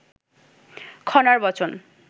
খনার বচন